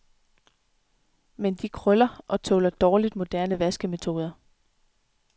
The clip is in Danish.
Men de krøller og tåler dårligt moderne vaskemetoder.